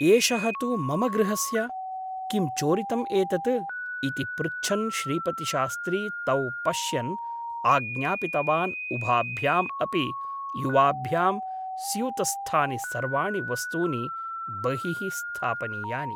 एषः तु मम गृहस्य !! किं चोरितम् एतत् ?' इति पृच्छन् श्रीपतिशास्त्री तौ पश्यन् आज्ञापितवान् उभाभ्याम् अपि युवाभ्यां स्यूतस्थानि सर्वाणि वस्तूनि बहिः स्थापनीयानि ।